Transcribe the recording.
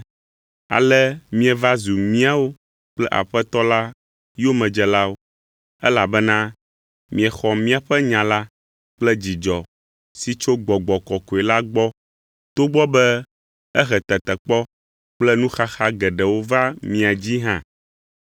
Ale mieva zu míawo kple Aƒetɔ la yomedzelawo, elabena miexɔ míaƒe nya la kple dzidzɔ si tso Gbɔgbɔ Kɔkɔe la gbɔ togbɔ be ehe tetekpɔ kple nuxaxa geɖewo va mia dzii hã.